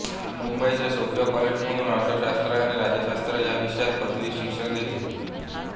मुंबईच्या सोफिया कॉलेजमधून अर्थशास्त्र आणि राज्यशास्त्र या विषयात पदवी शिक्षण घेतले